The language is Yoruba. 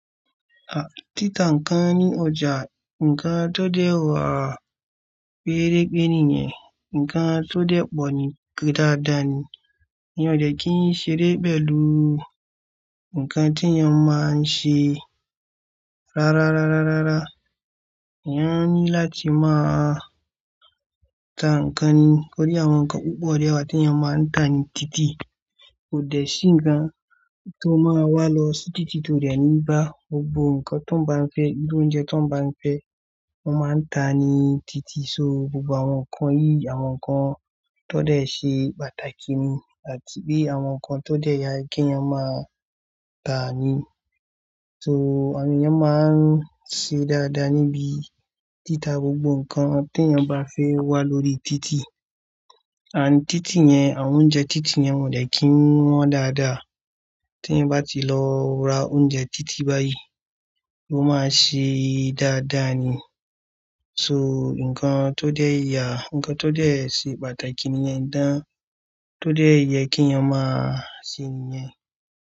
À, títà ǹkan ní ọjà, ǹkan tó dẹ̀ wà pérépéré nìyẹn, ǹkan tó dẹ̀ pọ̀ ní dáadáa ni. Mi ò dẹ̀ kí n ṣeré pẹ̀lú ǹkan tí ènìyàn máa ń ṣe. Rárá, rárárárá. Ènìyàn ní láti máa ta ǹkan ni. Tórí àwọn ǹkan púpọ̀ dẹ wà tí ènìyàn máa ń tà ni títì. Kò dẹ̀ sí ǹkan tó máa wà lọ sí títì tó dẹ̀ ní bá gbogbo ǹkan tó ń bá ń fẹ́, irú oúnjẹ tó ń bá ń fẹ́, wọn máa ń tà ní títì. So gbogbo àwọn nǹkan yìí, àwọn nǹkan tó dẹ̀ ṣe pàtàkì ni àti pé àwọn nǹkan tó dẹ̀ yẹ kí ènìyàn máa tà ni. So ènìyàn máa ń ṣe dáadáa níbi títà gbogbo nǹkan tí ènìyàn bá fẹ́ wà lórí títì. Ànd títì yẹn, àwọn oúnjẹ títì yẹn won ò dẹ̀ kí wọ́n dáadáa. Tí ènìyàn bá ti lọ ra oúnjẹ títì báyìí, ó máa ṣe dáadáa ni. So nǹkan tó dẹ̀ yà, nǹkan tó dẹ̀ ṣe pàtàkì nìyẹn. Ǹjẹ́ tó dẹ̀ yẹ kí ènìyàn máa ṣe nìyẹn.